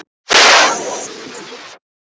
Mér þykir það mjög miður.